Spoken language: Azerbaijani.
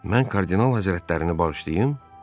Mən Kardinal Həzrətlərini bağışlayım?